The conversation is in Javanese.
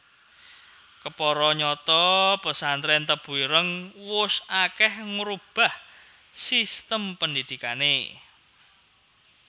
Kepara nyata pesantrèn Tebu Ireng wus akèh ngrubah sistem pandhidhikané